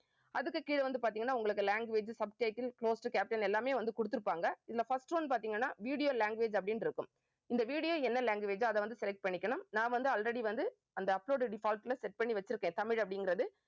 அதுக்கு கீழே வந்து பார்த்தீங்கன்னா உங்களுக்கு language subtitle close to caption எல்லாமே வந்து கொடுத்திருப்பாங்க. இதுல first one பார்த்தீங்கன்னா video language அப்படின்னு இருக்கும் இந்த video என்ன language ஓ அதை வந்து select பண்ணிக்கணும். நான் வந்து already வந்து அந்த upload default ல set பண்ணி வச்சிருக்கேன் தமிழ் அப்படிங்கறது